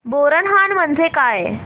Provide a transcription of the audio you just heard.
बोरनहाण म्हणजे काय